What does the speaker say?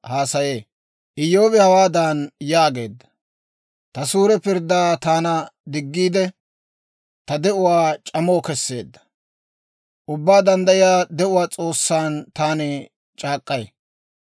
«Ta suure pirddaa taana diggiide, ta de'uwaa c'ama kesseedda, Ubbaa Danddayiyaa de'uwaa S'oossan taani c'aak'k'ay.